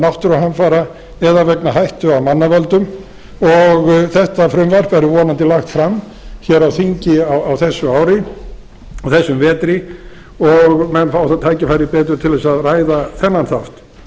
náttúruhamfara eða vegna hættu af manna völdum og þetta frumvarp verður vonandi lagt fram hér á þingi á þessu ári og þessum vetri og menn fá þar tækifæri betur til að ræða þennan þátt síðan er